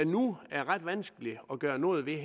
nu er ret vanskeligt at gøre noget ved